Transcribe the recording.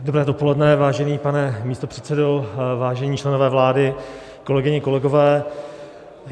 Dobré dopoledne, vážený pane místopředsedo, vážení členové vlády, kolegyně, kolegové.